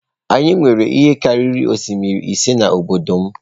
Anyị nwere ihe karịrị osimiri ise n’obodo m.